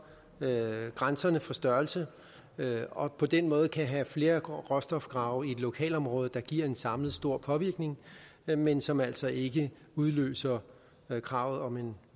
grænserne for størrelse og på den måde kan man have flere råstofgrave i et lokalområde der giver en samlet stor påvirkning men men som altså ikke udløser krav om en